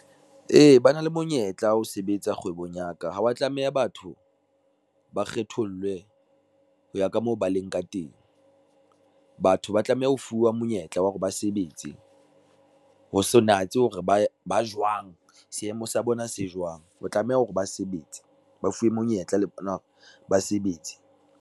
Ee, ba na le monyetla ho sebetsa kgwebong ya ka ha wa tlameha batho, ba kgethollwe ho ya ka moo ba leng ka teng. Batho ba tlameha ho fuwa monyetla wa hore ba sebetse, ho sa natse hore ba ba jwang, seemo sa bona se jwang o tlameha hore ba sebetse ba fuwe monyetla le bona hore ba sebetse.